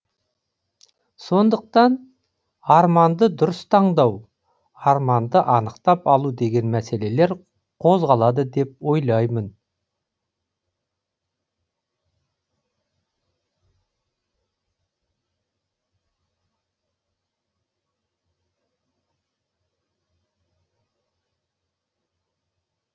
сондықтан арманды дұрыс таңдау арманды анықтап алу деген мәселелер қозғалады деп ойлаймын